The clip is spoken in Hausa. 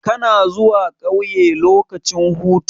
Kana zuwa ƙauye lokacin hutu?